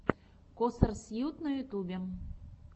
косарсьют на ютюбе